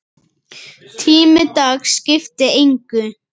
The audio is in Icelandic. Tími dags skipti engu.